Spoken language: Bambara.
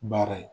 Baara ye